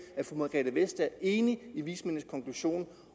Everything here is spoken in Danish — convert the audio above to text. er fru margrethe vestager enig i vismændenes konklusion